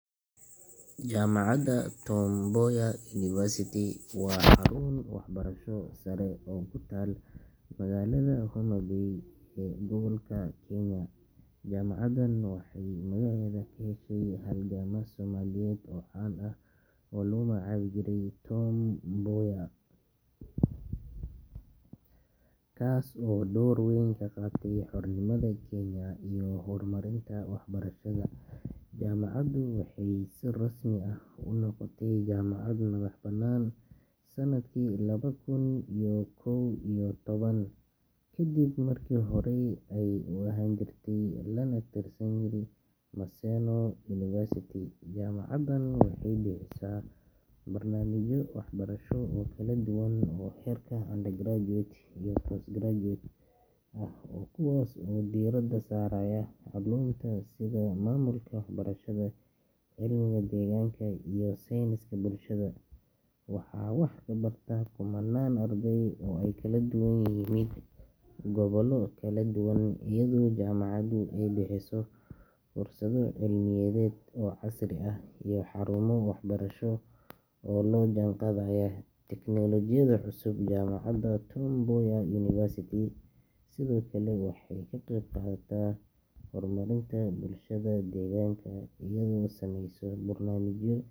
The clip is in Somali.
Jaamacadda Tom Mboya University waa xarun waxbarasho sare oo ku taal magaalada Homa Bay ee gobolka galbeedka Kenya. Jaamacaddan waxay magaceeda ka heshay halgamaa Soomaaliyeed oo caan ah oo lagu magacaabi jiray Tom Mboya, kaas oo door weyn ka qaatay xornimada Kenya iyo horumarinta waxbarashada. Jaamacaddu waxay si rasmi ah u noqotay jaamacad madax bannaan sannadkii laba kun iyo kow iyo toban, ka dib markii horey ay u ahaan jirtay laan ka tirsan Maseno University. Jaamacaddan waxay bixisaa barnaamijyo waxbarasho oo kala duwan oo heerka undergraduate iyo postgraduate ah, kuwaas oo diiradda saaraya culuumta sida maamulka, waxbarashada, cilmiga deegaanka, iyo sayniska bulshada. Waxaa wax ka barta kumannaan arday ah oo ka kala yimid gobollo kala duwan, iyadoo jaamacaddu ay bixiso fursado cilmiyeed oo casri ah iyo xarumo waxbarasho oo la jaan qaadaya teknolojiyadda cusub. Jaamacadda Tom Mboya University sidoo kale waxay ka qayb qaadataa horumarinta bulshada deegaanka iyadoo sameysa barnaamijyo.